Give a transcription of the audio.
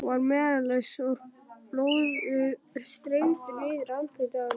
Hún var meðvitundarlaus og blóðið streymdi niður andlitið á henni.